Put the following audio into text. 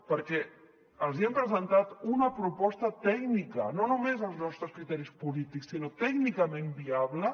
perquè els hi hem presentat una proposta tècnica no només els nostres criteris polítics sinó tècnicament viable